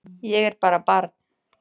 Ég er bara barn.